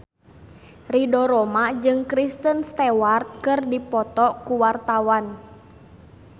Ridho Roma jeung Kristen Stewart keur dipoto ku wartawan